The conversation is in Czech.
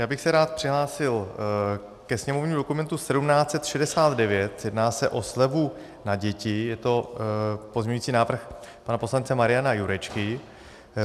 Já bych se rád přihlásil ke sněmovnímu dokumentu 1769, jedná se o slevu na děti, je to pozměňovací návrh pana poslance Mariana Jurečky.